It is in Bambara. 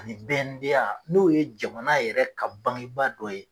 Ani BNDA n'o ye jamana yɛrɛ ka bangi ba dɔ ye.